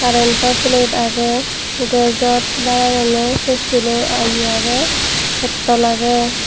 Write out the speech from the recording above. currento plate agey gasot baat ranonne se sulo agi agey pettol agey.